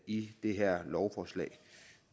i det her lovforslag